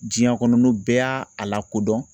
Diɲɛ kɔnɔ n'o bɛɛ y'a a lakodɔn